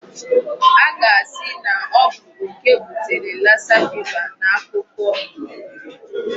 A ga-asị na ọ bụ okè butere Lassa fever n'akukuọ.